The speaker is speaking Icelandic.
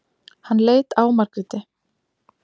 Hann leit á Margréti.